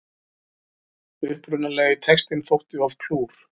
Upprunalegi textinn þótti of klúr